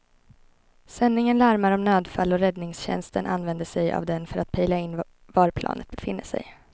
Sändningen larmar om nödfall och räddningstjänsten använder sig av den för att pejla in var planet befinner sig.